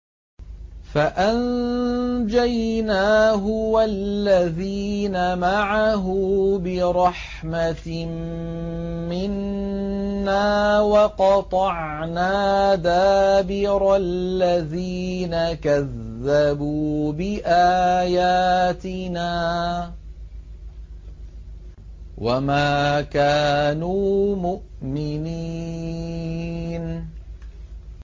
فَأَنجَيْنَاهُ وَالَّذِينَ مَعَهُ بِرَحْمَةٍ مِّنَّا وَقَطَعْنَا دَابِرَ الَّذِينَ كَذَّبُوا بِآيَاتِنَا ۖ وَمَا كَانُوا مُؤْمِنِينَ